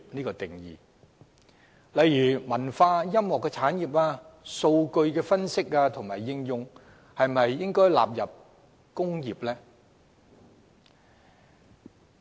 舉例來說，文化音樂產業和數據分析應用應否列作"工業"？